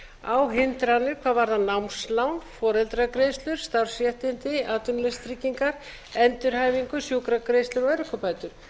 á hindranir hvað varðar námslán foreldragreiðslur starfsréttindi atvinnuleysistryggingar endurhæfingu sjúkragreiðslur og örorkubætur